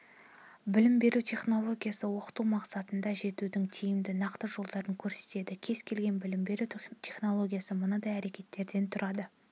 білім беру технологиясы-оқыту мақсатына жетудің тиімді нақты жолдарын көрсетеді кез келген білім беру технологиясы мынадай әрекеттерден тұрады